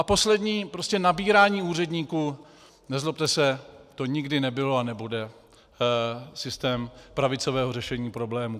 A poslední, prostě nabírání úředníků, nezlobte se, to nikdy nebylo a nebude, systém pravicového řešení problémů.